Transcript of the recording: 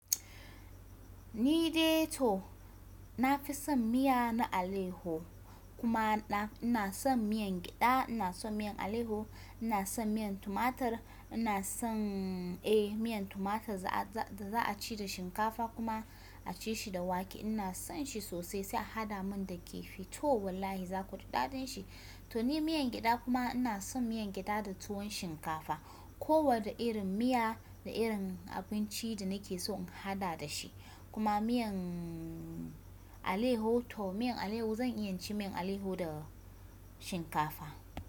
Nide to, nafi son miya na aleho, kuma nafi ina son miyan gyaɗa, ina son miyan aleho, ina son miyan tumatir, ina son eh miyan tumatir da za a ci da shinkafa kuma a ci shi da wake. Ina son shi sosai sai a hada mun da kifi to wallahi za ku ji daɗin shi. To ni miyan gyada kuma ina son miyan gyada da tuwon shinkafa. Ko wadda irin miya da irin abinci da nake so in hada da shi. Kuma miyan aleho to miyan aleho zan iya ci miyan aleho da shinkafa.